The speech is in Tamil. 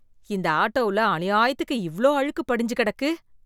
இந்த ஆட்டோவுல அநியாயத்துக்கு இவ்ளோ அழுக்கு படிஞ்சு கிடக்கு.